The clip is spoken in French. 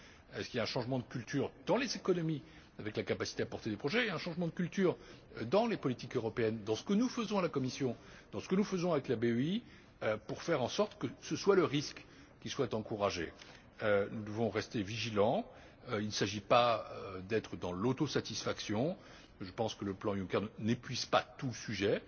Est ce qu'il y a un changement de culture dans les économies, avec la capacité de porter les projets, et un changement de culture dans les politiques européennes, dans ce que nous faisons à la Commission, dans ce que nous faisons avec la BEI, pour faire en sorte que ce soit le risque qui soit encouragé? Nous devons rester vigilants, il ne s'agit pas de donner dans l'autosatisfaction. Je pense que le plan Juncker n'épuise pas tout le